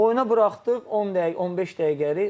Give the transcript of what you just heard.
Oyuna buraxdıq 10 dəqiqə, 15 dəqiqəlik.